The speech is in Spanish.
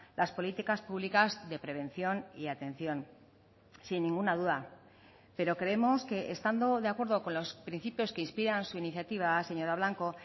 las políticas públicas de prevención y atención sin ninguna duda pero creemos que estando de acuerdo con los principios que inspiran su iniciativa señora blanco